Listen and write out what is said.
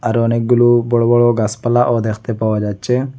আরও অনেকগুলো বড় বড় গাসপালাও দেখতে পাওয়া যাচ্ছে।